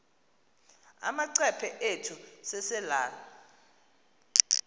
amacephe ethu selelal